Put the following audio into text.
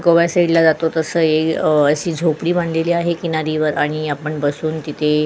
गोवा साईडला जातो तस हि असी झोपडी बानलेली आहे आणि आपण बसून तिथे --